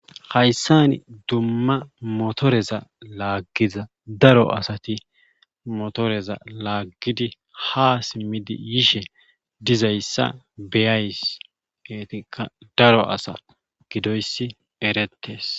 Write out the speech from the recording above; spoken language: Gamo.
Hayssani dumma motoreza laaggiza daro asati motoreza laaggidi haa simmidi yishe yidayssa be7ays eetikka daro asa gidoyssi erettees.